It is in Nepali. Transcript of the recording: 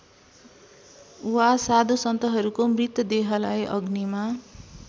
वा साधुसन्तहरूको मृतदेहलाई अग्निमा